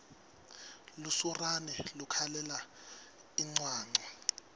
lusurane lukhalela incwancwa